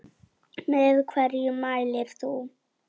Með hverju mælir þú?